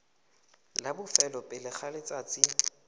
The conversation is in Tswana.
la bofelo pele ga letsatsi